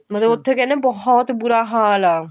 ਮਤਲਬ ਉੱਥੇ ਕਹਿੰਦੇ ਬਹੁਤ ਬੁਰਾ ਹਾਲ ਆ